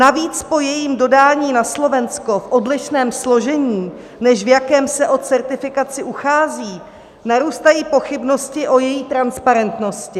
Navíc po jejím dodání na Slovensko v odlišném složení, než v jakém se o certifikaci uchází, narůstají pochybnosti a její transparentnosti.